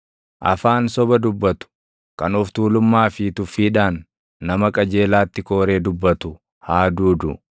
Afaan soba dubbatu, kan of tuulummaa fi tuffiidhaan, nama qajeelaatti kooree dubbatu haa duudu.